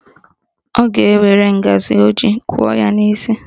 Ọ ga-ewere ngaji o ji kụọ ya n'isi